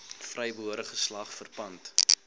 vrygebore geslag verpand